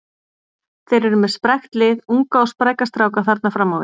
Þeir eru með sprækt lið, unga og spræka stráka þarna fram á við.